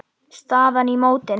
Staðan í mótinu.